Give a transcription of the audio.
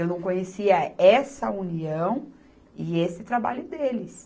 Eu não conhecia essa união e esse trabalho deles.